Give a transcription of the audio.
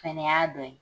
Fɛnɛ y'a dɔ ye